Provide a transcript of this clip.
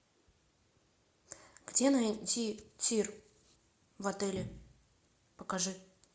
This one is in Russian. где найти тир в отеле покажи